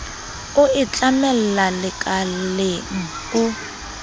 o e tlamella lekaleng o